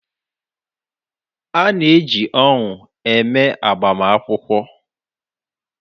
A na-eji ọṅụ eme agbamakwụkwọ.